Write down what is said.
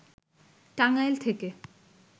টাঙ্গাইল থেকে